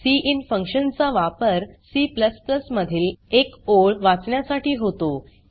cin function चा वापर C मधील एक ओळ वाचण्यासाठी होतो